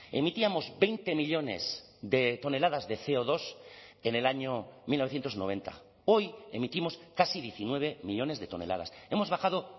emitíamos veinte millónes de toneladas de ce o dos en el año mil novecientos noventa hoy emitimos casi diecinueve millónes de toneladas hemos bajado